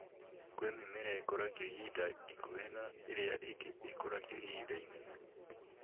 Kwĩ mĩmera ĩkũragio ihinda ikuhĩ na ĩrĩa ĩngĩ ĩgakũrio ihinda inene